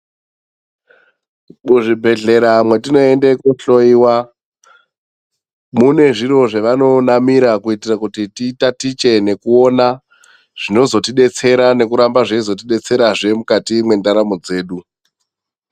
Muzvi bhedhlera mwatinoende kohloiwa, mune zviro zvava nonamira kitira kuti titatiche nekuona zvino zotibetsera nekuramba zveizovtibetserazve, mukati mwendaramo dzedu.